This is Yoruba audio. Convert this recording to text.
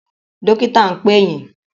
Dọ́kítà ń pè yín.